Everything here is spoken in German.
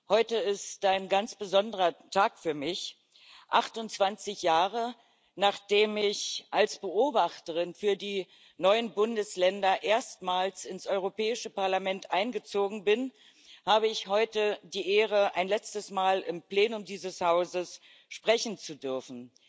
Heute ist ein ganz besonderer Tag für mich 28 Jahre, nachdem ich als Beobachterin für die neuen Bundesländer erstmals ins Europäische Parlament eingezogen bin, habe ich heute die Ehre, ein letztes Mal im Plenum dieses Hauses sprechen zu dürfen.